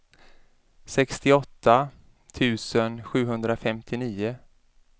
sextioåtta tusen sjuhundrafemtionio